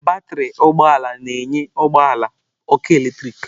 Batrị ụgbọ ala na-enye ụgbọ ala ọkụ eletrik.